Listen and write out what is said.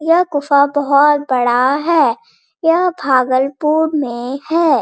यह गुफा बहुत बड़ा है | यह भागलपुर मै है |